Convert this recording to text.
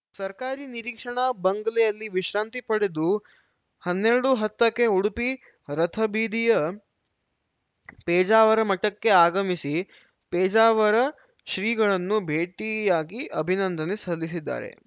ಸರ್ಕಾರಿ ನಿರೀಕ್ಷಣಾ ಬಂಗ್ಲೆಯಲ್ಲಿ ವಿಶ್ರಾಂತಿ ಪಡೆದು ಹನ್ನೆರಡು ಹತ್ತಕ್ಕೆ ಉಡುಪಿ ರಥಬೀದಿಯ ಪೇಜಾವರ ಮಠಕ್ಕೆ ಆಗಮಿಸಿ ಪೇಜಾವರ ಶ್ರೀಗಳನ್ನು ಭೇಟಿಯಾಗಿ ಅಭಿನಂದನೆ ಸಲ್ಲಿಸಿದ್ದಾರೆ